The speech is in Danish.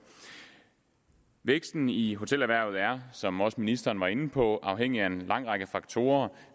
væksten i hotelerhvervet er som også ministeren var inde på afhængig af en lang række faktorer